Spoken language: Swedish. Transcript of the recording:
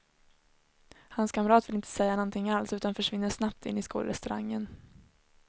Hans kamrat vill inte säga någonting alls utan försvinner snabbt in i skolrestaurangen.